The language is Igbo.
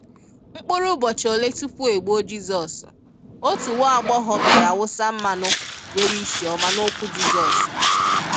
Mkpuru ụbọchị ole tupu e gbuo Jizọs, otu nwaagbọghọ biara wụsa mmanụ nwere isi oma n'ụkwụ Jizọs.